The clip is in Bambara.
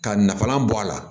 Ka nafanlan bɔ a la